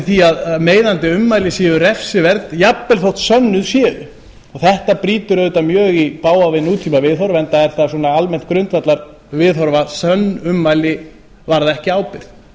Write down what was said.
því að meiðandi ummæli séu refsiverð jafnvel þótt sönnuð séu þetta brýtur auðvitað mjög í bága við nútíma viðhorf enda er það svona almennt grundvallarviðhorf að sönn ummæli varða ekki ábyrgð